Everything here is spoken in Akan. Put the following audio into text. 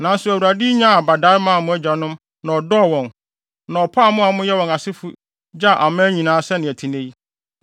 Nanso Awurade nyaa abadae maa mo agyanom na ɔdɔ wɔn, na ɔpaw mo a moyɛ wɔn asefo gyaa aman nyinaa sɛnea ɛte nnɛ yi.